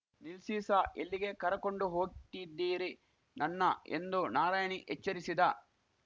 ನಿಲ್ಸಿ ಸಾ ಎಲ್ಲಿಗೆ ಕರಕೊಂಡು ಹೋಗ್ತಿದೀರಿ ನನ್ನ ಎಂದು ನಾರಾಯಣಿ ಎಚ್ಚರಿಸಿದ